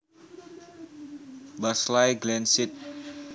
Barclay Glen St